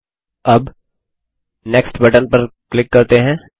ठीक है अब नेक्स्ट बटन पर क्लिक करते हैं